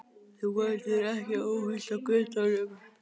Þú verður ekki óhult á götunum.